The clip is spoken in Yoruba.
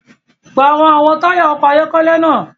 Parọ awọn taya ọkọ ayọkẹlẹ náà!